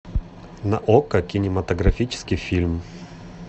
на окко кинематографический фильм